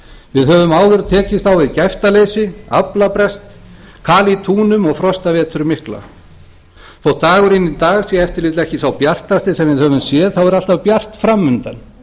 við höfum áður tekist á við gæftaleysi aflabrest kal í túnum og frostaveturinn mikla þótt dagurinn í dag sé ef til vill ekki sá bjartasti sem við höfum séð þá er alltaf bjart fram undan